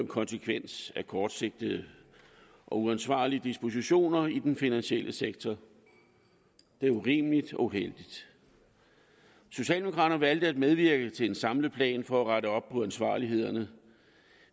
konsekvens af kortsigtede og uansvarlige dispositioner i den finansielle sektor det er urimeligt og uheldigt socialdemokraterne valgte at medvirke til en samlet plan for at rette op på uansvarligheden